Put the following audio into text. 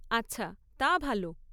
আচ্ছা, তা ভালো।